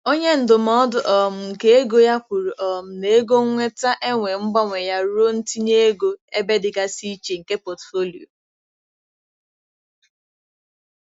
Onye ndụmọdụ um nke ego ya kwuru um na ego nnweta enwe mgbanwe ya ruo ntinye ego ebe dịgasị iche nke pọtụfoliyo.